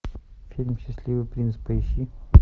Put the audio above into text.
фильм счастливый принц поищи